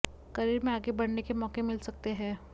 career में आगे बढ़ने के मौके मिल सकते हैं